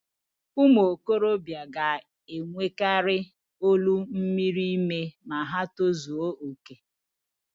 ụmụ okorobịa ga-enwekari olu miri emi ma ha tozuo okè